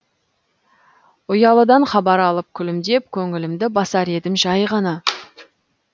ұялыдан хабар алып күлімдеп көңілімді басар едім жай ғана